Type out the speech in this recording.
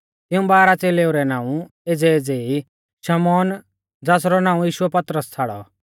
तिऊं बारह च़ेलेऊ रै नाऊं एज़ैएज़ै ई शमौन ज़ासरौ नाऊं यीशुऐ पतरस छ़ाड़ौ